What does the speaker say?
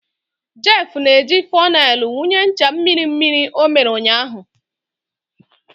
Jeff na-eji fonel wụnye ncha mmiri mmiri ọ mere ụnyaahụ.